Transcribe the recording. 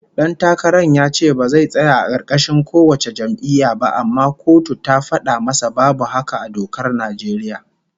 Dan takaran ya ce ba zai tsaya a karkashin kowace jam'iyya ba, amma kotu ta fada masa babu haka a dokar Najeriya